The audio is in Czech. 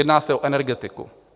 Jedná se o energetiku.